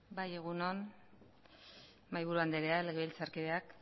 bai egun on mahaiburu andrea legebiltzarkideak